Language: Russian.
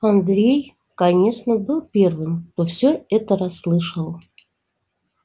андрей конечно был первым кто всё это расслышал